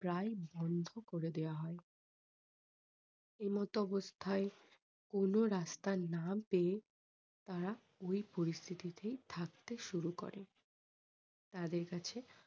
প্রায় বন্ধ করে দেওয়া হয়। এই মতো অবস্থায় কোনো রাস্তা না পেয়ে তারা ওই পরিস্থিতিতে থাকতে শুরু করে। তাদের কাছে